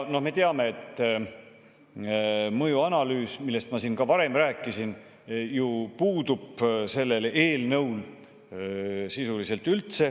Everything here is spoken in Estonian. No me teame, et mõjuanalüüs, millest ma siin ka varem rääkisin, sellel eelnõul ju sisuliselt puudub.